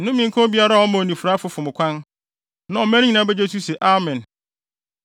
“Nnome nka obiara a ɔma onifuraefo fom kwan.” Na ɔman no nyinaa begye so se, “Amen!”